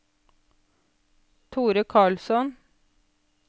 Thore Karlsson